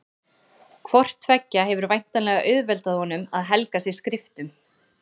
Hvort tveggja hefur væntanlega auðveldað honum að helga sig skriftum.